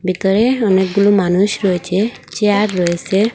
ভিতরে অনেকগুলো মানুষ রয়েছে চেয়ার রয়েসে।